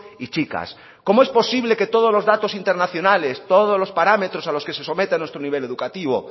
y chicas cómo es posible que todos los datos internacionales todos los parámetros a los que se somete a nuestro nivel educativo